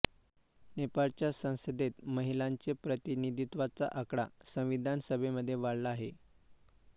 नेपाळच्या संसदेत महिलांचे प्रतिनिधित्वाचा आकडा संविधान सभेमध्ये वाढला आहे